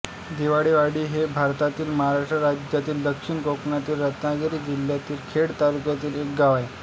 दिवाळेवाडी हे भारतातील महाराष्ट्र राज्यातील दक्षिण कोकणातील रत्नागिरी जिल्ह्यातील खेड तालुक्यातील एक गाव आहे